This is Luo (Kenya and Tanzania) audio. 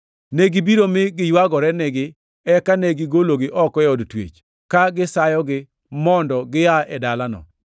Negibiro mi giywagore nigi, eka ne gigologi oko e od twech, ka gisayogi mondo gia e dalano.